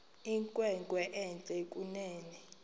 inkwenkwe entle kunene